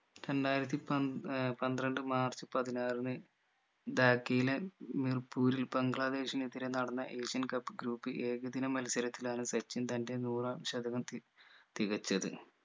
രണ്ടായിരത്തി പൻ ഏർ പന്ത്രണ്ട് മാർച്ച് പതിനാറിന് ധാക്കയിലെ മിർപ്പൂരിൽ ബംഗ്ലാദേശിനെതിരെ നടന്ന asian cup group ൽ ഏകദിന മത്സരത്തിലാണ് സച്ചിൻ തന്റെ നൂറാം ശതകം തി തികച്ചത്